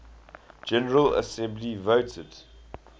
general assembly voted